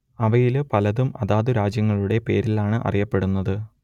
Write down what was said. അവയിൽ പലതും അതാതു രാജ്യങ്ങളുടെ പേരിലാണ് അറിയപ്പെടുന്നത്